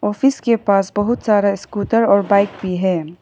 Office के पास बहुत सारा स्कूटर और बाइक भी है।